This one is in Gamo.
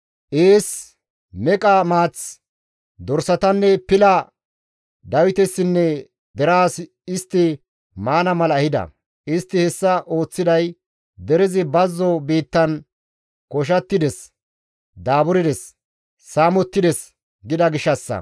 ees, meqa maath, dorsatanne pila Dawitesinne deraas istti maana mala ehida. Istti hessa ooththiday, «Derezi bazzo biittan koshattides; daaburdes; saamettides» gida gishshassa.